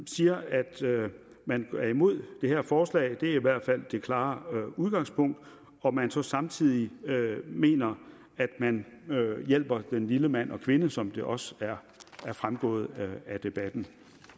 siger at man er imod det her forslag det er i hvert fald det klare udgangspunkt og man så samtidig mener at man hjælper den lille mand og kvinde som det også er fremgået af debatten